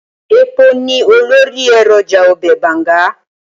Ẹpo ni olórí èròjà ọbẹ̀ Bàǹga.